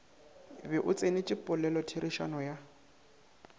be o tsenetše polelotherišano ya